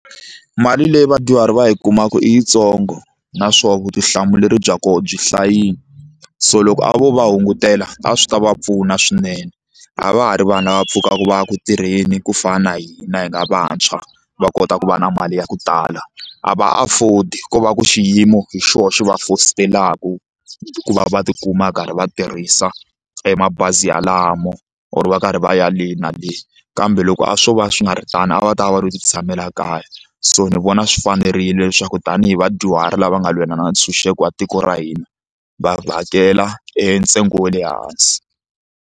Mali leyi vadyuhari va yi kumaka i yitsongo naswona vutihlamuleri bya koho byi hlayini so loko a vo va hungutela a swi ta va pfuna swinene a va ha ri vanhu lava pfukaka va ya ku tirheni ku fana na hina hi nga vantshwa va kota ku va na mali ya ku tala a va afford ko va ku xiyimo hi xona xi va fositelaka ku va va tikuma va karhi va tirhisa e mabazi yalamo or va karhi va ya le na le kambe loko a swo va swi nga ri tano a va ta va va lo titshamela kaya so ni vona swi fanerile leswaku tanihi vadyuhari lava nga lwela ntshunxeko wa tiko ra hina va hakela e ntsengo wa le hansi.